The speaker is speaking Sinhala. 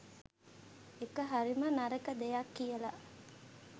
ඒක හරිම නරක දෙයක් කියලා